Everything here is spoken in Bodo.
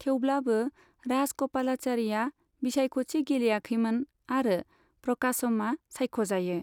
थेवब्लाबो, राजगपालाचारिआ बिसायख'थि गेलेयाखैमोन आरो प्रकाशमआ सायख'जायो।